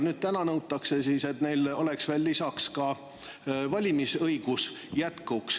Nüüd nõutakse, et neil oleks lisaks ka valimisõigus.